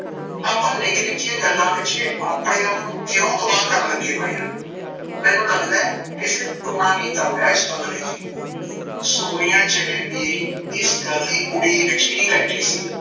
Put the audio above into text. ਆਪਾਂ ਨਿੱਕ ਨਿੱਕਿਆ ਗੱਲਾਂ ਪਿੱਛੇ ਆਪਣੇ ਆਪ ਨੂੰ ਕਿਓ ਤਬਾਹ ਕਰਨ ਲੱਗੇ ਹੋਇਆ, ਮੈਂਨੂੰ ਲੱਗਦਾ ਕਿਸੇ ਟੂਣਾ ਕੀਤਾ ਹੋਇਆ ਇਸ ਬੰਗਲੇ ਚ ਈ ਸੋਨੀਆ ਜਿਵੇਂ ਮੇਰੀ ਇਸ ਗੱਲ ਦੀ ਉਡੀਕ ਚ ਹੀ ਬੈਠੀ ਸੀ।